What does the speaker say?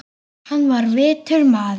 Hann var vitur maður.